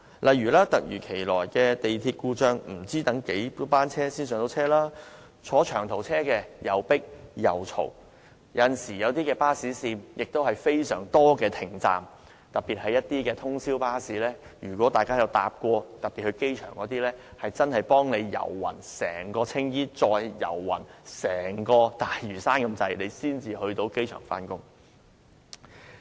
例如，突如其來的港鐵故障，市民不知道要等候多少班車才能上車；坐長途車則吵鬧擠迫；而某些巴士線則沿途有很多停車站，特別是通宵巴士，而如果大家曾乘搭機場巴士，真會幾乎走遍整個青衣及大嶼山才能到達機場目的地。